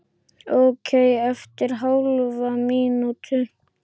Ókei eftir hálfa mínútu.